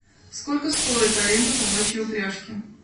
сколько стоит аренда собачьей упряжки